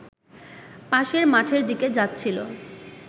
পাশের মাঠের দিকে যাচ্ছিল